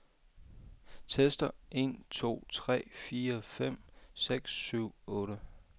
Tester en to tre fire fem seks syv otte.